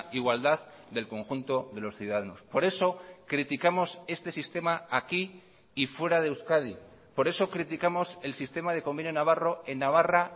igualdad del conjunto de los ciudadanos por eso criticamos este sistema aquí y fuera de euskadi por eso criticamos el sistema de convenio navarro en navarra